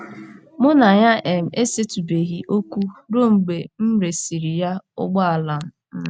Mụ na ya um esetụbeghị okwu ruo mgbe m resịrị ya ụgbọala um.